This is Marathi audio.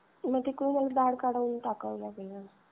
मग तिकडून मग दाढ काढून टाकावी लागेल.